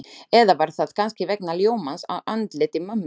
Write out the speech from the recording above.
Eða var það kannski vegna ljómans á andliti mömmu?